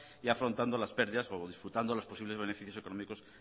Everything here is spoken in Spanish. y afrontando las pérdidas o disfrutando los posibles beneficios económicos